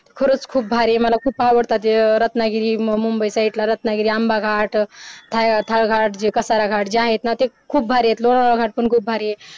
खरंच खूप भारी आहेत मला खूप आवडतात जे रत्नागिरी मुंबई साइडला रतनागिरी आंबा घाट थायघाट जे कासाराघाट जे आहेतना खूप भारी आहे लोणावळा घाट पण खूप भारी आहेत